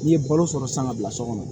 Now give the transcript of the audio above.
N'i ye balo sɔrɔ san ka bila so kɔnɔ